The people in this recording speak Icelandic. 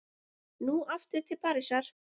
Nú aftur til Parísar.